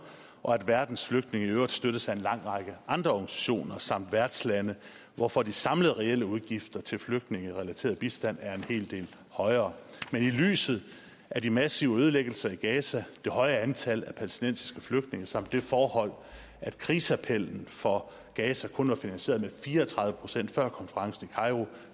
og at verdens flygtninge i øvrigt støttes af en lang række andre organisationer samt værtslande hvorfor de samlede reelle udgifter til flygtningerelateret bistand er en hel del højere men i lyset af de massive ødelæggelser i gaza det høje antal palæstinensiske flygtninge samt det forhold at kriseappellen for gaza kun var finansieret med fire og tredive procent før konferencen i kairo